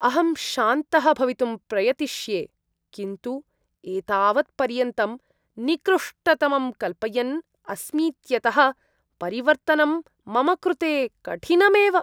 अहं शान्तः भवितुं प्रयतिष्ये, किन्तु एतावत्पर्यन्तं निकृष्टतमं कल्पयन् अस्मीत्यतः परिवर्तनं मम कृते कठिनमेव।